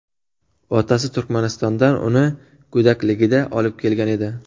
Otasi Turkmanistondan uni go‘dakligida olib kelgan edi.